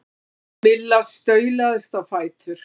Milla staulaðist á fætur.